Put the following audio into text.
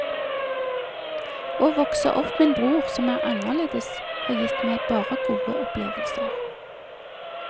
Å vokse opp med en bror som er anderledes har gitt meg bare gode opplevelser.